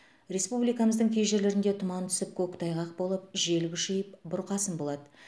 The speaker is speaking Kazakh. республикамыздың кей жерлерінде тұман түсіп көктайғақ болып жел күшейіп бұрқасын болады